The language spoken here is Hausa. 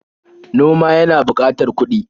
Noma yana buƙatar kuɗi.